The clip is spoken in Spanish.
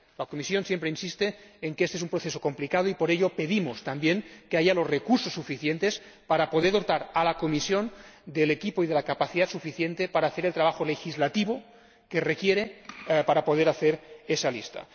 La Comisión siempre insiste en que este es un proceso complicado y, por ello, pedimos también que haya los recursos suficientes para poder dotar a la Comisión del equipo y de la capacidad suficientes para hacer el trabajo legislativo que se requiere para poder hacer esa lista.